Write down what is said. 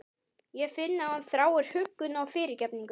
Ég finn að hún þráir huggun og fyrirgefningu.